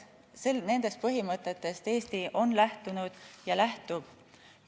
Nendest põhimõtetest Eesti on lähtunud ja lähtub.